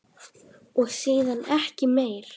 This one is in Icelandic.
Og síðan ekki meir?